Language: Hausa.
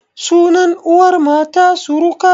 Sunan uwar mata suruka